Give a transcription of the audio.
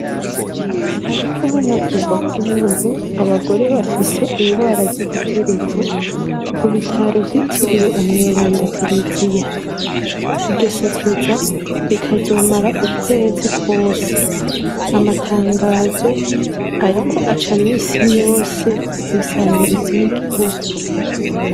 Hariko haravugwa kubuntu abagore bafise ingwara z'igitereko ku bitaro vyitiriwe umweranda tereziya ibyo sekeza rikazomara ukwezi kwose amatangazo ariko acamisi yose ku isamirizi y'igihugu.